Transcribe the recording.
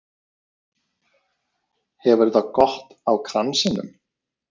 Hefur það gott á kransinum